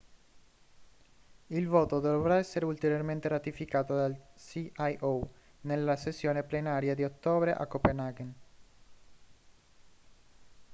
il voto dovrà essere ulteriormente ratificato dal cio nella sessione plenaria di ottobre a copenaghen